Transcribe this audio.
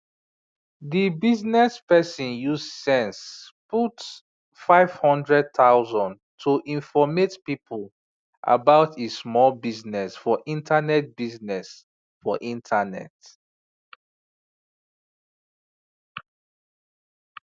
di bizness person use sense put 500000 to informate people about e small bizness for internet bizness for internet